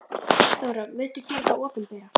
Þóra: Muntu gera þá opinbera?